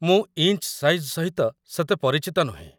ମୁଁ inch size ସହିତ ସେତେ ପରିଚିତ ନୁହେଁ ।